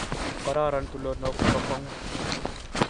Kororon tulonok nebo kwongut